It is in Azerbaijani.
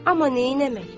Amma neynəmək?